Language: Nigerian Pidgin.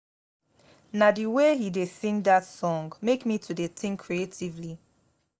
na the way he dey sing dat song make me to dey think creatively